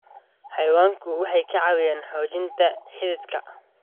Xayawaanku waxay ka caawiyaan xoojinta xidhiidhka.